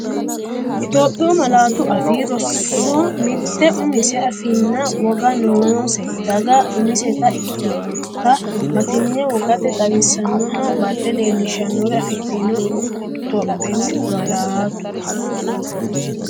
Itophiyu Malaatu Afii Roso Mitte umise afiinna woga noose daga umiseta ikkitinota batinye wogate xawisaanonna bade leellishshannore afidhino Itophiyu Malaatu.